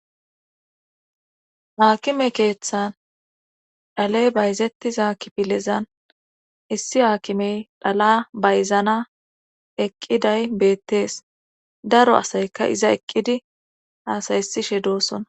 Haakime keeththan dhaley bayzettiza kipilezan issi haakimey dhala bayzana eqqiday beettees daro asayka iza eqqidi haasayesishe doossona.